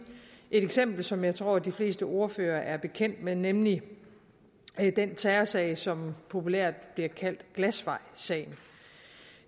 et eksempel som jeg tror at de fleste ordførere er bekendt med nemlig den terrorsag som populært bliver kaldt glasvejsagen